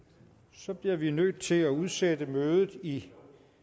så bliver vi nødt til at udsætte mødet i